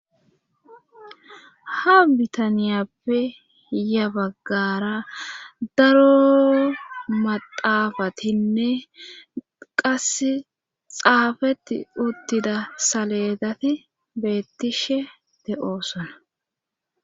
Ha bitaniyappe yabaggara daro maxaafatinne qasse xaafetti uttida saledati beettishe te7oosona.